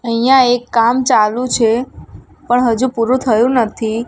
અહિંયા એક કામ ચાલુ છે પણ હજુ પૂરૂ થયુ નથી.